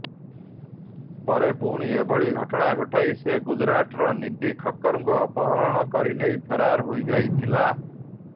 ପରେ ପୁଣି ଏଭଳି ଘଟଣା ଘଟାଇ ସେ ଗୁଜରାଟର ନୀଧି ଖକ୍କରଙ୍କୁ ଅପହରଣ କରି ନେଇ ଫେରାର ହୋଇଯାଇଥିଲା